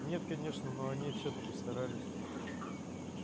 нет конечно но они всё-таки старались